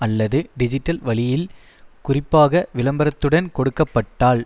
அல்லது டிஜிட்டல் வழியில் குறிப்பாக விளம்பரத்துடன் கொடுக்க பட்டால்